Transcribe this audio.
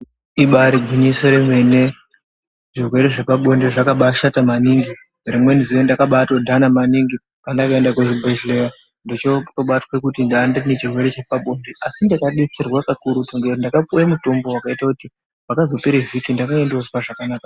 Ibari gwinyiso remene, zvirwere zvepabonde zvakabashata maningi. Rimweni zuwa ndakabatodhana maningi pandakaenda kuzvibhehleya ndochotobatwe kuti ndanga ndinechirwere chepabonde asi ndakadetserwa pakuruti ngekuti ndakapuwe mutombo wekuti pakazopere vhiki ndakange ndozwa zvakanaka.